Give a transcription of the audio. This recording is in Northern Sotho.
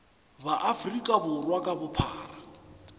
ba afrika borwa ka bophara